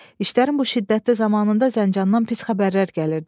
İşlərin bu şiddətli zamanında Zəncandan pis xəbərlər gəlirdi.